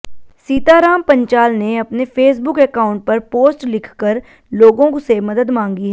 सीताराम पंचाल ने अपने Facebook account पर पोस्ट लिखकर लोगों से मदद मांगी है